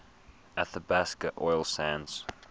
athabasca oil sands